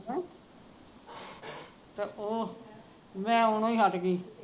ਹੀਣ ਪਰ ਉਹ ਮੈਂ ਆਉਣੋ ਹੀ ਹੱਟ ਗਈ